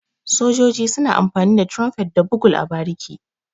Sojoji suna amfani da Tirumfet da Bugul a bariki.